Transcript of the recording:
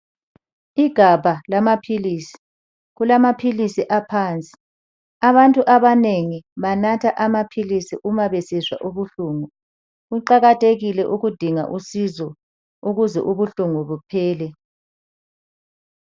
Igabha lamaphilisi , kulamaphilisi aphansi. Abantu abanengi banatha amaphilisi uma besizwa ubuhlungu, kuqakathekile ukudinga usizo ukuze ubuhlungu buphele.